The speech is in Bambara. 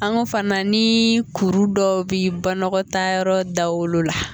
An ko fana ni kuru dɔw bɛ banakɔtaa yɔrɔ dawolo la.